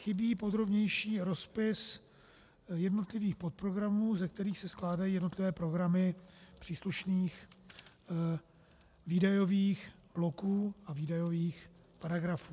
Chybí podrobnější rozpis jednotlivých podprogramů, ze kterých se skládají jednotlivé programy příslušných výdajových bloků a výdajových paragrafů.